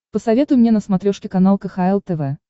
посоветуй мне на смотрешке канал кхл тв